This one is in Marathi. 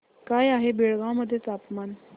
काय आहे बेळगाव मध्ये तापमान